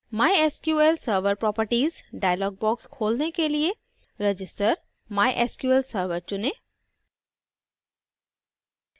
mysql server properties dialog box खोलने के लिए register mysql server चुनें